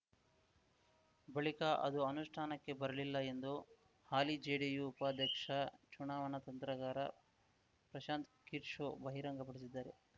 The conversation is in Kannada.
ಬಳಿಕ ಅದು ಅನುಷ್ಠಾನಕ್ಕೆ ಬರಲಿಲ್ಲ ಎಂದು ಹಾಲಿ ಜೆಡಿಯು ಉಪಾಧ್ಯಕ್ಷ ಚುನಾವಣಾ ತಂತ್ರಗಾರ ಪ್ರಶಾಂತ್‌ ಕಿರ್ಶೋ ಬಹಿರಂಗಪಡಿಸಿದ್ದಾರೆ